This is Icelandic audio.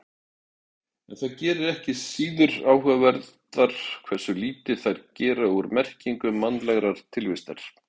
En það gerir þær ekki síður áhugaverðar hversu lítið þær gera úr merkingu mannlegrar tilvistar.